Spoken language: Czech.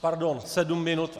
Pardon, sedm minut.